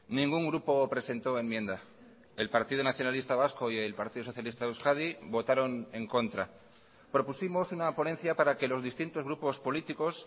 ningún grupo presentó enmienda el partido nacionalista vasco y el partido socialista de euskadi votaron en contra propusimos una ponencia para que los distintos grupos políticos